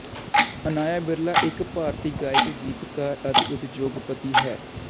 ਅਨਾਇਆ ਬਿਰਲਾ ਇੱਕ ਭਾਰਤੀ ਗਾਇਕ ਗੀਤਕਾਰ ਅਤੇ ਉਦਯੋਗਪਤੀ ਹੈ